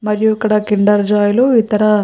మరియు ఇక్కడ Kinder Joy లు మరియు ఇతర --